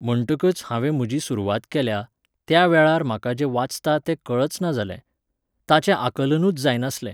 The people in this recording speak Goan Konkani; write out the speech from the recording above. म्हणटकच हांवें म्हजी सुरवात केल्या, त्या वेळार म्हाका जें वाचता तें कळच ना जालें. ताचें आकलनूच जायनासलें.